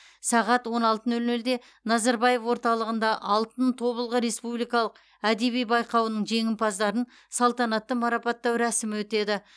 сағат он алты нөл нөлде назарбаев орталығында алтын тобылғы республикалық әдеби байқауының жеңімпаздарын салтанатты марапаттау рәсімі өтеді